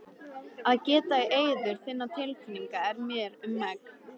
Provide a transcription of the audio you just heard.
Að geta í eyður þinna tilfinninga er mér um megn.